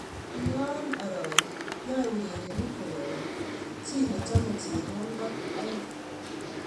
Yoyo arori, yae urerenik korori, chi nechome chebonkot aeng.